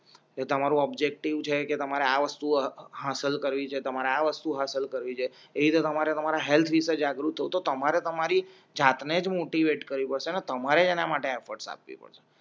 એ તમારું ઓબ્જેક્ટિવ છે કે તમારે આ વસ્તુ હાંસલ કરી છે તમારા વસ્તુ હાંસલ કરી છે એવી તે તમારે તમારા હેલ્થ વિષે જાગૃત હો તો તમારે તમારી જાત નેજ મોટિવેટ કરવિ પડસે ને તમારે જ એના માટે એફટસ આપવી પડસે